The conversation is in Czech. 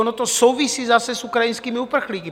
Ono to souvisí zase s ukrajinskými uprchlíky.